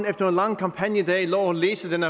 efter en lang kampagnedag lå og læste denne